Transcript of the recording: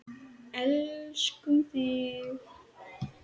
Elskum þig.